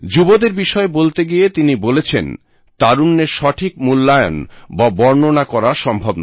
যুবদের বিষয় বলতে গিয়ে তিনি বলেছেন তারুণ্যের সঠিক মূল্যায়ন বা বর্ণনা করা সম্ভব নয়